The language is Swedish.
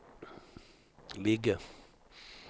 ligger